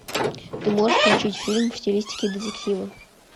ты можешь включить фильм в стилистике детектива